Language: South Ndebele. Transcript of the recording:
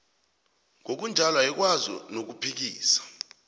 ngokunjalo ayikwazi nokuphikisa